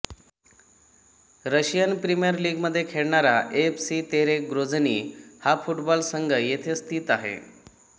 Russian premier लीगमध्ये खेळणारा F C Terek Grozny हा फुटबॉल संघ येथेच स्थित आहे